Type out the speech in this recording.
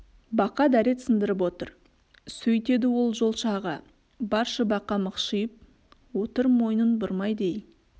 бақа дәрет сындырып отыр сөйтеді ол жолшы аға баршы бақа мықшиып отыр мойнын бұрмайды ей